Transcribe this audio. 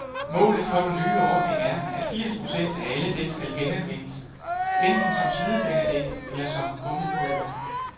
Målet for den nye ordning er, at firs procent af alle dæk skal genanvendes, enten som slidbanedæk eller som gummipulver.